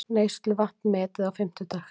Neysluvatn metið á fimmtudag